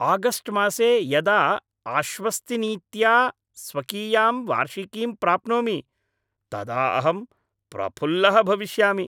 August मासे यदा आश्वस्तिनीत्या स्वकीयां वार्षिकीं प्राप्नोमि तदा अहं प्रफुल्लः भविष्यामि।